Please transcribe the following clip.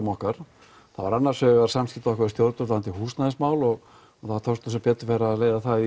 okkar það var annars vegar samskipti okkar við stjórn varðandi húsnæðismál og og það tókst sem betur fer að leysa það